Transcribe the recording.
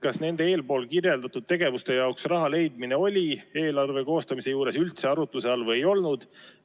Kas nende eelpool kirjeldatud tegevuste jaoks raha leidmine oli eelarve koostamisel üldse arutuse all või ei olnud?